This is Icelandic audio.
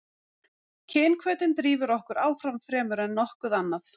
kynhvötin drífur okkur áfram fremur en nokkuð annað